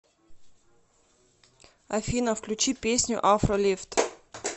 афина включи песню афро лефт